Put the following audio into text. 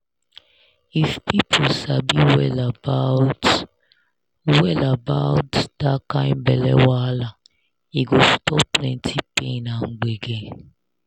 if people sabi well about well about that kind belle wahala e go stop plenty pain and gbege.